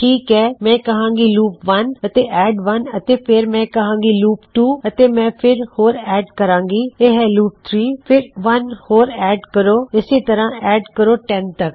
ਠੀਕ ਹੈ ਮੈਂ ਕਹਾਂਗਾ ਲੂਪ 1 ਅਤੇ ਐੱਡ 1 ਅਤੇ ਫਿਰ ਮੈਂ ਕਹਾਂਗਾ ਲੂਪ 2 ਅਤੇ ਮੈਂ ਇੱਕ ਹੋਰ ਐੱਡ ਕਰਾਂਗਾ ਇਹ ਹੈ ਲੂਪ 3 ਫਿਰ ਇੱਕ ਹੋਰ ਐੱਡ ਕਰੋ ਇਸਸੇ ਤਰ੍ਹਾ ਐੱਡ ਕਰੋ 10 ਤੱਕ